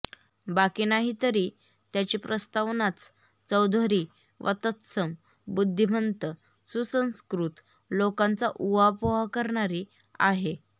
बाकी नाही तरी त्याची प्रस्तावनाच चौधरी वा तत्सम बुद्धीमंत सुसंस्कृत लोकांचा उहापोह करणारी आहे